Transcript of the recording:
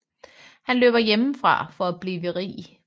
Han løber hjemmefra for at blive rig